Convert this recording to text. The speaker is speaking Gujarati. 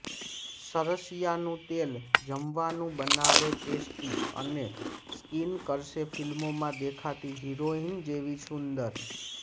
સરસીયા નું તેલ જમવાનું બનાવે ટેસ્ટી અને સ્કીન કરશે ફિલ્મો માં દેખાતી હિરોઈન જેવી સુંદર